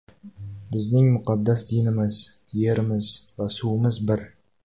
Bizning muqaddas dinimiz, yerimiz va suvimiz bir.